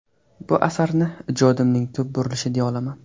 Bu asarni ijodimning tub burulishi deya olaman.